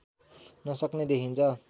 नसक्ने देखिन्छ